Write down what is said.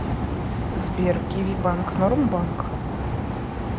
сбер киви банк норм банк